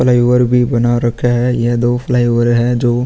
Flyover भी बना रखा है। यह दो फ्लाईओवर है जो --